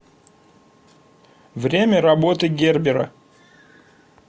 время работы гербера